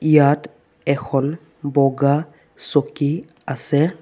ইয়াত এখন বগা চকী আছে।